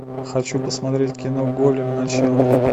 хочу посмотреть кино голем начало